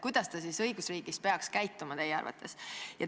Kuidas ta siis peaks teie arvates õigusriigis käituma?